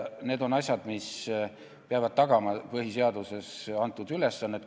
Need on asjad, mis peavad tagama põhiseaduses antud ülesannet.